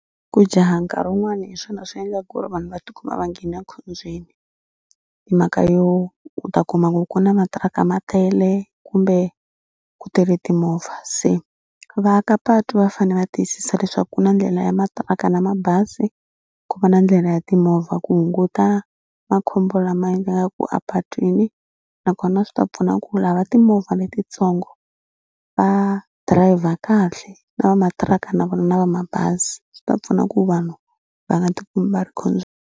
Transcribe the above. Ku jaha nkarhi wun'wani hi swona swi endlaka ku ri vanhu va tikuma va nghene ekhombyeni hi mhaka yo u ta kuma ku ku na matiraka ma tele kumbe ku tele timovha. Se vaaka patu va fanele va tiyisisa leswaku ku na ndlela ya matiraka na mabazi ku va na ndlela ya timovha ku hunguta makhombo lama endlekaku apatwini nakona swi ta pfuna ku lava timovha letitsongo va dirayivha kahle na va matiraka na vona va mabazi. Swi ta pfuna ku vanhu va nga tikumi va ri .